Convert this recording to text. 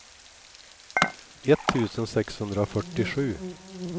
etttusen sexhundrafyrtiosju